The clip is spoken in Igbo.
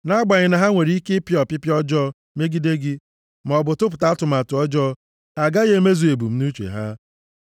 Nʼagbanyeghị na ha nwere ike ịpịa ọpịpịa ọjọọ megide gị, maọbụ tụpụta atụmatụ ọjọọ, ha agaghị emezu ebumnuche ha.